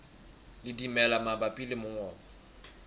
le dimela mabapi le mongobo